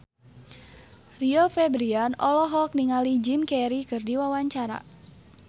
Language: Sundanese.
Rio Febrian olohok ningali Jim Carey keur diwawancara